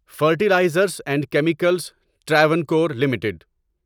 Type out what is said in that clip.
fertilizers and chemicals Travancore limited